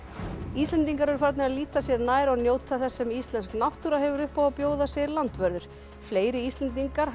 Íslendingar eru farnir að líta sér nær og njóta þess sem íslensk náttúra hefur upp á að bjóða segir landvörður fleiri Íslendingar